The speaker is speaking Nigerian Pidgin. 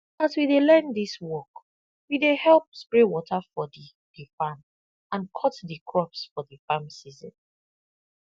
as we dey learn dis work we dey help spray water for di di farm and cut di crops for di farm season